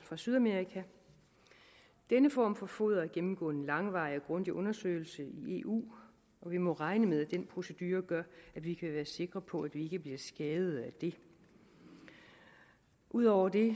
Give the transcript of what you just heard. fra sydamerika denne form for foder har gennemgået en langvarig og grundig undersøgelse i eu og vi må regne med at den procedure gør at vi kan være sikre på at vi ikke bliver skadet af det ud over det